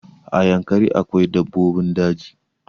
A yankari akwai dabbobin daji